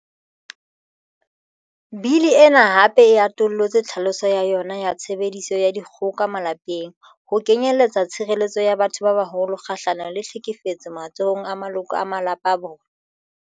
Bili ena hape e atollotse tlhaloso ya yona ya 'tshebediso ya dikgoka malapeng' ho kenyelletsa tshire-lletso ya batho ba baholo kga-hlanong le tlhekefetso matsohong a maloko a malapa a bona.